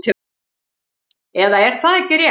Eða er það ekki rétt?